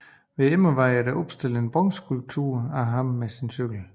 Ved Immervad er der opstillet en bronzeskulptur af ham med sin cykel